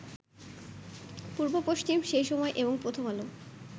পূর্ব-পশ্চিম, সেই সময় এবং প্রথম আলো